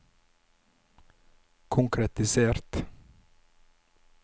konkretisert